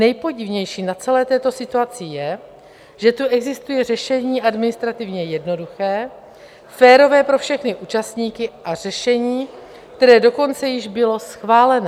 Nejpodivnější na celé této situaci je, že tu existuje řešení administrativně jednoduché, férové pro všechny účastníky a řešení, které dokonce již bylo schválené.